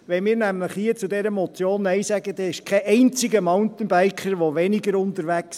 Wenn wir nämlich hier zu dieser Motion Nein sagen, ist kein einziger Mountainbiker weniger unterwegs.